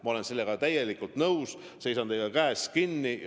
Ma olen sellega täielikult nõus, seisan nende eest koos teiega käest kinni hoides.